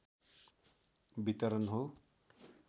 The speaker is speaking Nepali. वितरण हो